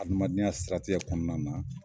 Adamadenya siratigɛ kɔnɔna na